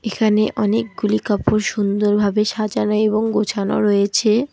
এখানে অনেকগুলি কাপড় সুন্দরভাবে সাজানো এবং গোছানো রয়েছে।